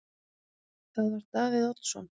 Það var Davíð Oddsson.